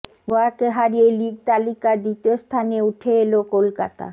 গোয়াকে হারিয়ে লিগ তালিকার দ্বিতীয় স্থানে উঠে এল কলকাতা